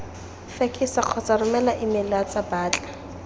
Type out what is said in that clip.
fekesa kgotsa romela emeilatsa batla